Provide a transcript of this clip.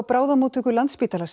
bráðamóttöku Landspítala